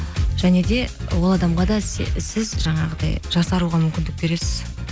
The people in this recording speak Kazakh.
және де ол адамға да сіз жаңағыдай жасаруға мүмкіндік бересіз